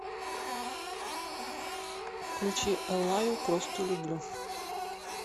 включи эллаю просто люблю